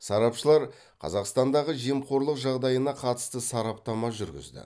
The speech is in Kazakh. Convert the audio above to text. сарапшылар қазақстандағы жемқорлық жағдайына қатысты сараптама жүргізді